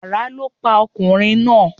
Àrá lọ pa ọkùnrin náà.